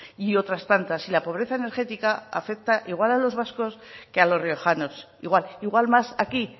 y otras tantas y la pobreza energética afecta igual a los vascos que a los riojanos igual igual más aquí